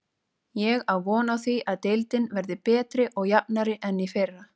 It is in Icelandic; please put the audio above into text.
Ég á von á því að deildin verði betri og jafnari en í fyrra.